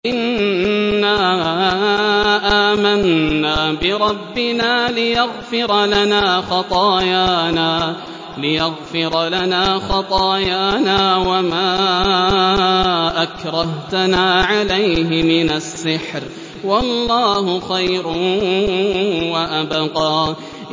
إِنَّا آمَنَّا بِرَبِّنَا لِيَغْفِرَ لَنَا خَطَايَانَا وَمَا أَكْرَهْتَنَا عَلَيْهِ مِنَ السِّحْرِ ۗ وَاللَّهُ خَيْرٌ وَأَبْقَىٰ